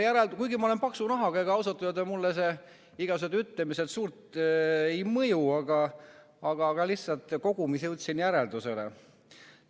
Kuigi ma olen paksu nahaga, ega ausalt öelda mulle igasugused ütlemised suurt ei mõju, aga lihtsalt kogumis jõudsin sellele järeldusele.